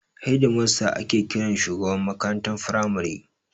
Hedimasta ake kiran shugaban makarantar firamare.